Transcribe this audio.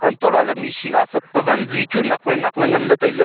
anto laley machine asap pa wanzi chu nak wai nak ley nganley tailey.